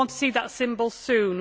We want to see that symbol soon.